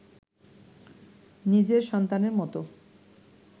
নিজের সন্তানের মতো